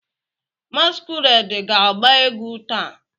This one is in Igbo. Masquerade ga-agba egwu taa?